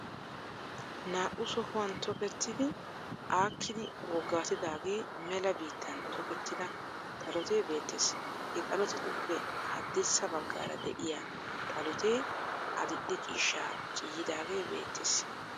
Naa"u sohuwan tokettidi aakkidi woggaatidaaagee mela biittan tokettida xalote beettes. He xalotetuppe haddirssa baggaara de'iyaa xalotee adidhe ciishshaa ciiyyidaage beettes.